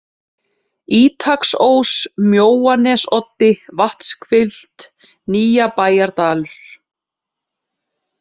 Ítaksós, Mjóanesoddi, Vatnshvilft, Nýjabæjardalur